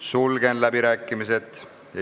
Sulgen läbirääkimised.